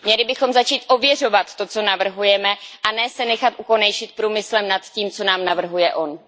Měli bychom začít ověřovat to, co navrhujeme, a ne se nechat ukonejšit průmyslem nad tím, co nám navrhuje on.